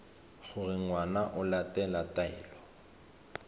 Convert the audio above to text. gore ngwana o latela taelo